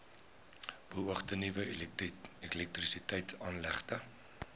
beoogde nuwe elektrisiteitsaanlegte